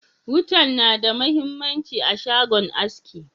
Wutan na da mahimmanci a shagon aski.